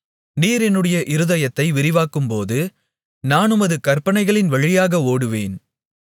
நீர் என்னுடைய இருதயத்தை விரிவாக்கும்போது நான் உமது கற்பனைகளின் வழியாக ஓடுவேன்